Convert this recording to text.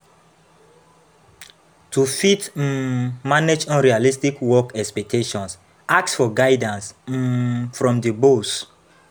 To fit um manage unrealistic work expectations, ask for guidance um from di boss